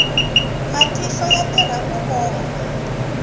matihlo ya tirha ku vona